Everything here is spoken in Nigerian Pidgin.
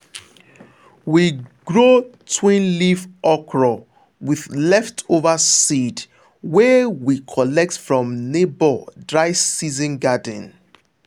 we grow twin leaf okra with leftover seed wey we collect from neighbor dry season garden.